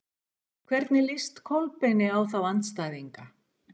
Hvernig líst Kolbeini á þá andstæðinga?